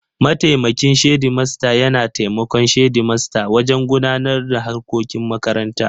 Mataimakin shedimasta yana taimakon shedimasta wajen gudanar da harkokin makaranta.